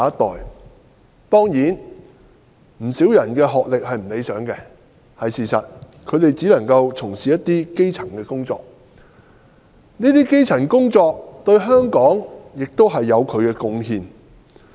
在他們當中，不少人學歷不高——這是事實——只能夠擔當基層職位，但有關工種對香港也有貢獻。